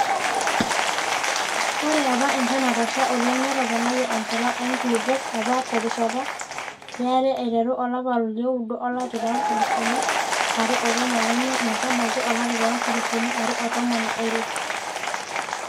Ore apa enchan Natasha oleng netoponayie enchalan oo nkulupuok APA terishata yare aiteru olapa liooudo olari loonkalifuni are otomon omiet metabaiki olari loonkalifuni are otomon oile.